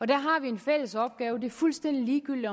der har vi en fælles opgave det er fuldstændig ligegyldigt